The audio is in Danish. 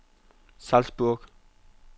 Salzburg